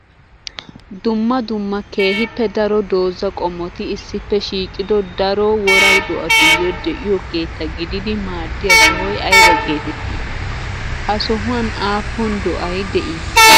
Dumma dumma keehippe daro dooza qommotti issippe shiiqiddo daro wora do'attuyo de'iyo keetta gididdi maaddiya sohoy aybba geetetti? Ha sohuwan aapun do'ay de'ii?